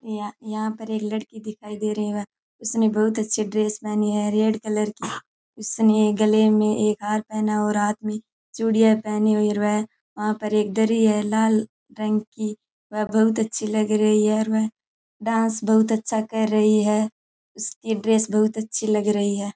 यहां यहां पर एक लड़की दिखाई दे रही है उसने बहुत अच्छी ड्रेस पहनी है रेड कलर की उसने गले में एक हार पहना है और हाथ में चूड़ियां पहनी हुई है और वह वहां एक दरी है लाल रंग की वह बहुत अच्छी लग रही है और वह डांस बहुत अच्छा कर रही है उसकी ड्रेस बहुत अच्छी लग रही है।